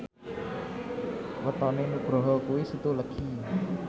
wetone Nugroho kuwi Setu Legi